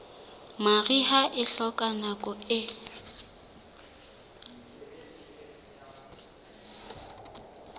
mariha e hloka nako e